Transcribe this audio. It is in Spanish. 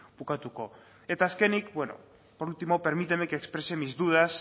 bukatuko eta azkenik por último permíteme que exprese mis dudas